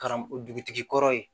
Karamɔgɔ dugutigi kɔrɔ ye